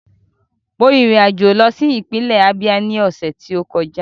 Mo rin ìrìn àjò lọ sí ìpínlẹ̀ Ábíá ní ọ̀sẹ̀ tó kọjá